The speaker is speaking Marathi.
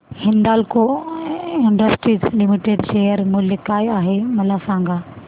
हिंदाल्को इंडस्ट्रीज लिमिटेड शेअर मूल्य काय आहे मला सांगा